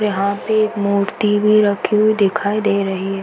यहाँ पे एक मूर्ति भी रखी हुई दिखाई दे रही है।